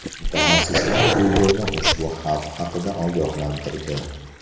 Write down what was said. Mutaxassislar Google’ni ushbu xavf haqida ogohlantirdi.